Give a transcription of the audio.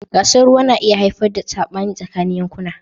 Gasar ruwa na iya haifar da sabani tsakanin yankuna.